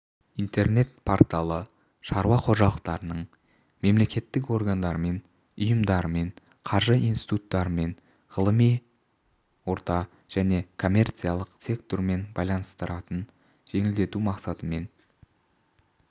интернет-порталы шаруа қожалықтарының мемлекеттік органдармен ұйымдармен қаржы институттарымен ғылыми орта және коммерциялық сектормен байланыстарын жеңілдету мақсатымен